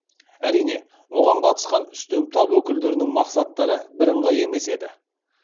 әрине оған қатысқан үстем тап өкілдерінің мақсаттары бірыңғай емес еді